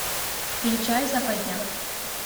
включай западня